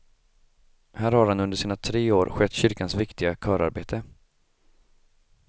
Här har han under sina tre år skött kyrkans viktiga körarbete.